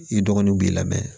I dɔgɔninw b'i la